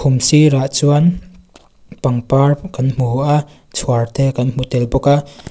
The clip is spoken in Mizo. khum sir ah chuan pangpar kan hmu a chhuar te kan hmu tel bawk a.